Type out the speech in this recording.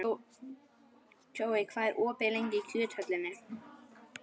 Kjói, hvað er opið lengi í Kjöthöllinni?